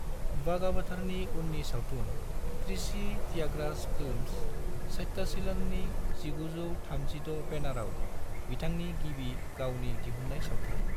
बागावथरनि उननि सावथुन त्रिची त्यागराज फिल्म्स, सत्यशीलननि (1936) बेनाराव बिथांनि गिबि गावनि दिहुन्नाय सावथुन।